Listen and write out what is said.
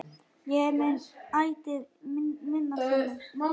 Ég mun ætíð minnast hennar.